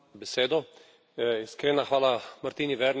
Iskrena hvala Martini Werner za poročilo.